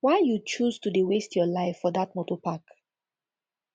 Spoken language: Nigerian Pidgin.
why you choose to dey waste your life for dat moto park